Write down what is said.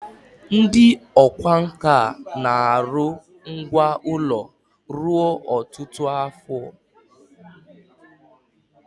ndi okwá nkà na-aru ngwá ulo ruo otutu afo